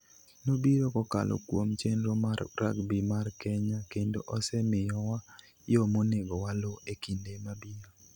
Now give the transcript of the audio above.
Nobiro kokalo kuom chenro mar rugby mar Kenya kendo osemiyowa yo monego waluw e kinde mabiro.